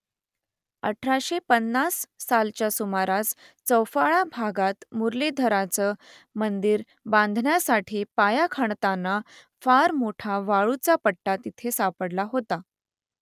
अठराशे पन्नास सालच्या सुमारास चौफाळा भागात मुरलीधराचं मंदिर बांधण्यासाठी पाया खणताना फार मोठा वाळूचा पट्टा तिथे सापडला होता